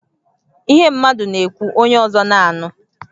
Ihe mmadụ na-ekwu, onye ọzọ na-anụ